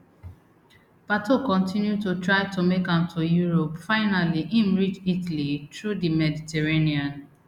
pato continue to try to make am to europe finally im reach italy through di mediterranean